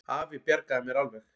Afi bjargaði mér alveg.